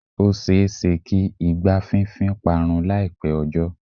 Ó ṣe-é-ṣe kí igbá fínfín parun láìpẹ́ ọjọ́.